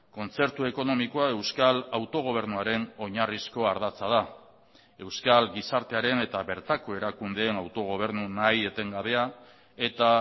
kontzertu ekonomikoa euskal autogobernuaren oinarrizko ardatza da euskal gizartearen eta bertako erakundeen autogobernu nahi etengabea eta